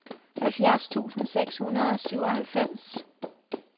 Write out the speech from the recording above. halvfjerds tusind seks hundrede og syvoghalvfems